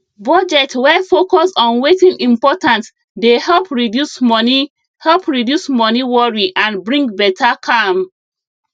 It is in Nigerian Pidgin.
budget wey focus on wetin important dey help reduce money help reduce money worry and bring better calm